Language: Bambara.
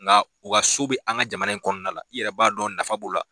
Nka u ka so bɛ an ka jamana in kɔnɔna la i yɛrɛ b'a dɔn nafa b'o la